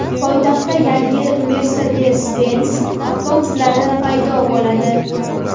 Poytaxtda yangi Mercedes-Benz avtobuslari paydo bo‘ladi.